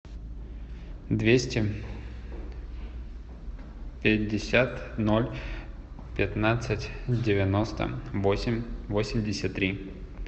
двести пятьдесят ноль пятнадцать девяносто восемь восемьдесят три